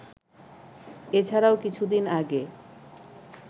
এছাড়াও কিছুদিন আগে